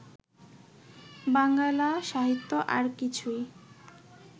বাঙ্গালা সাহিত্য আর কিছুই